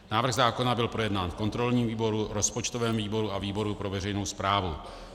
Návrh zákona byl projednán v kontrolním výboru, rozpočtovém výboru a výboru pro veřejnou správu.